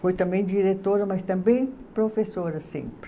Foi também diretora, mas também professora sempre.